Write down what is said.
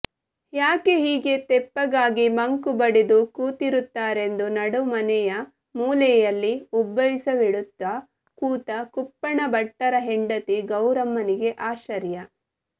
ಯಾಕೆ ಹೀಗೆ ತೆಪ್ಪಗಾಗಿ ಮಂಕು ಬಡಿದು ಕೂತಿರುತ್ತಾರೆಂದು ನಡುಮನೆಯ ಮೂಲೆಯಲ್ಲಿ ಉಬ್ಬಸವಿಡುತ್ತ ಕೂತ ಕುಪ್ಪಣ್ಣಭಟ್ಟರ ಹೆಂಡತಿ ಗೌರಮ್ಮನಿಗೆ ಆಶ್ಚರ್ಯ